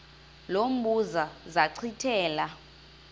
lo mbuzo zachithela